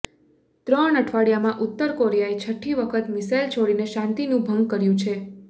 ત્રણ અઠવાડિયામાં ઉત્તર કોરિયાએ છઠ્ઠી વખત મિસાઈલ છોડીને શાંતિનું ભંગ કર્યું છે